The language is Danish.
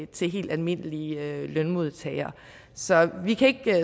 til helt almindelige lønmodtagere så vi kan ikke